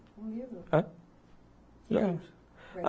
Um livro? É.